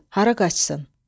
Hara qaçsın?